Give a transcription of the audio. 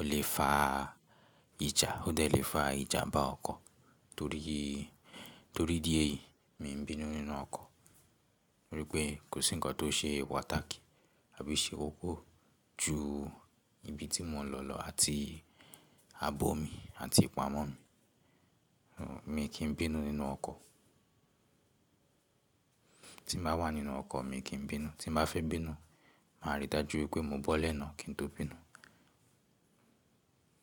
Ó lè fa ìjà, ó dẹ̀ lè fa ìjànbá ọkọ̀. Torí, torí idí èyí mi ò ń bínú nínú ọkọ̀. Nítorí pé kò sí nǹkan tó ṣe pàtàki àbí o ṣe koko ju ibi tí mo n lọ lọ àti àbọ̀ mi àti ipámọ́ mi. Mi ò kí ń bínú nínú ọkọ̀. Tí n bá wà nínú ọkọ̀, mi n kí ń bínú. Tí n bá fẹ́ bínú, màá rí dájú pé mo bọ́lẹ̀ náà kí n tó bínú.